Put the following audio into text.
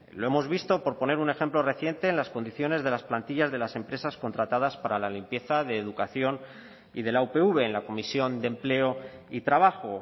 lo hemos visto por poner un ejemplo reciente en las condiciones de las plantillas de las empresas contratadas para la limpieza de educación y de la upv en la comisión de empleo y trabajo